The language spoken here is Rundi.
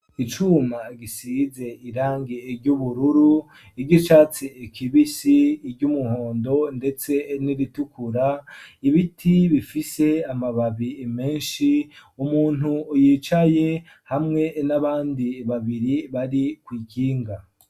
Icuma gisize irangi ry'ubururu iryicatsi kibisi iryumuhondo ndetse n'iritukura ibiti bifise amababi meshi umuntu yicaye hamwe n'abandi babiri bari kw'ikinga